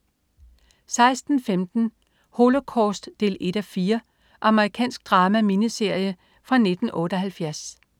16.15 Holocaust 1:4. Amerikansk drama-miniserie fra 1978